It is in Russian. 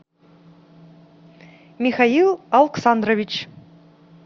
михаил алксандрович